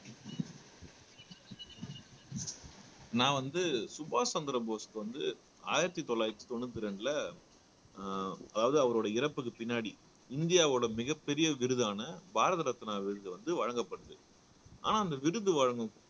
நான் வந்து சுபாஷ் சந்திர போஸ்க்கு வந்து ஆயிரத்தி தொள்ளாயிரத்தி தொண்ணூத்தி ரெண்டுல அஹ் அதாவது அவருடைய இறப்புக்கு பின்னாடி இந்தியாவோட மிகப் பெரிய விருதான பாரத ரத்னா விருது வந்து வழங்கப்படுது ஆனா அந்த விருது வழங்கும்